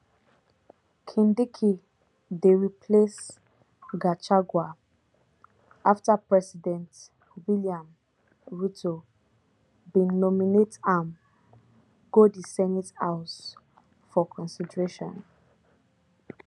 kindiki dey replace gachagua afta president william ruto bin nominate am go di senate house for consideration